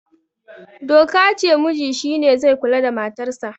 doka ce muji shi ne zai kula da matarsa